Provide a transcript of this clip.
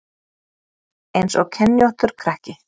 Eins og kenjóttur krakki